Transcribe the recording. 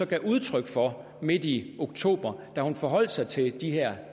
gav udtryk for midt i oktober da hun forholdt sig til de her